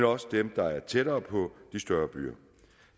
også dem der er tættere på de større byer